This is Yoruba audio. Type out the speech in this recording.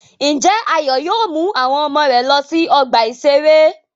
Ǹjẹ́ Ayọ̀ yóò mú àwọn ọmọ rẹ̀ lọ sí ọgbà-ìṣeré?